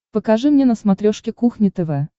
покажи мне на смотрешке кухня тв